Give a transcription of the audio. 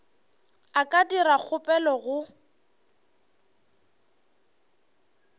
a ka dira kgopelo go